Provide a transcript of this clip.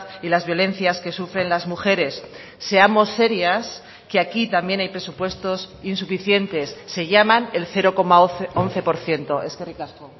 y las violencias que sufren las mujeres seamos serias que aquí también hay presupuestos insuficientes se llaman el cero coma once por ciento eskerrik asko